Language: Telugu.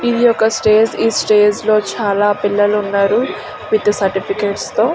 ఇది ఒక స్టేజి ఈ స్టేజి లో చాల పిల్లలు ఉన్నారు విత్ సర్టిఫికెట్స్ తో.